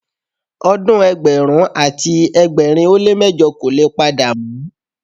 Odun ẹgbẹ̀rún àti ẹgbẹ̀rin ó lé mẹ́jọ kò le padà mọ́.